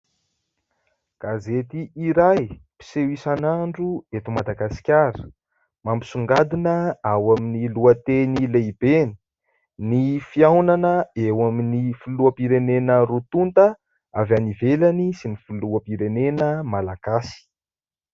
Gazety iray mpiseho isan'andro eto Madagasikara, mampisongadina ao amin'ny lohateny lehibeny :" Ny fihaonana eo amin'ny filoham-pirenena roa tonta avy any ivelany sy ny filoham-pirenena malagasy. "